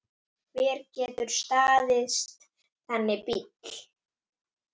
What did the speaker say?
Hver getur staðist þannig bíl?